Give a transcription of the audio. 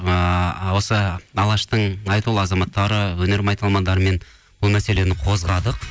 ыыы осы алаштың айтулы азаматтары өнер майталмандарымен бұл мәселені қозғадық